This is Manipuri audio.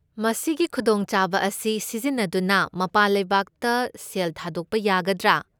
ꯃꯁꯤꯒꯤ ꯈꯨꯗꯣꯡꯆꯥꯕ ꯑꯁꯤ ꯁꯤꯖꯤꯟꯅꯗꯨꯅ ꯃꯄꯥꯟ ꯂꯩꯕꯥꯛꯇ ꯁꯦꯜ ꯊꯥꯗꯣꯛꯄ ꯌꯥꯒꯗ꯭ꯔꯥ?